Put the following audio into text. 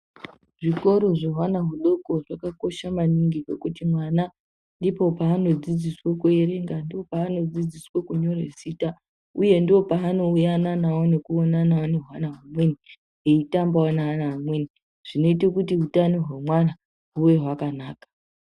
Zvikoro zvehwana hudoko zvakakosha maningi ngekuti mwana ndipo paanodzidziswa kuerenga, ndopaanodzidziswa kunyora uye ndopaanoyananawo nekuonanawo nehwana humweni eitambawo neana amweni zvinoite kuti hutano hwemwana huve hwakanaka.